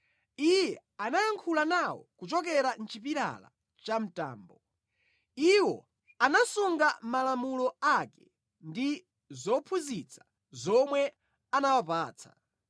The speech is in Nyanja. Iye anayankhula nawo kuchokera mʼchipilala cha mtambo; iwo anasunga malamulo ake ndi zophunzitsa zomwe anawapatsa.